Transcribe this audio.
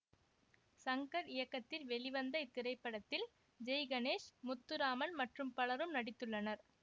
சங்கர் இயக்கத்தில் வெளிவந்த இத்திரைப்படத்தில் ஜெய்கணேஷ் முத்துராமன் மற்றும் பலரும் நடித்துள்ளனர்